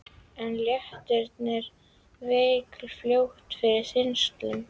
En léttirinn vék fljótt fyrir þyngslum.